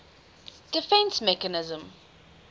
defence mechanism